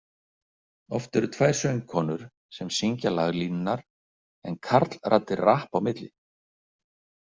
Oft eru tvær söngkonur sem syngja laglínurnar en karlraddir rappa á milli.